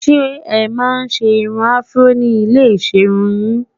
ṣé é man ṣé irún afro ní ilẹ iserun yìn?